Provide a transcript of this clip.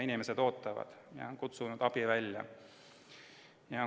Inimesed olid kutsunud abi välja ja ootasid.